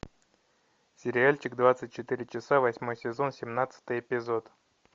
сериальчик двадцать четыре часа восьмой сезон семнадцатый эпизод